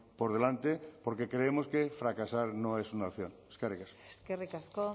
por delante porque creemos que fracasar no es una opción eskerrik asko eskerrik asko